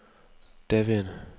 daværende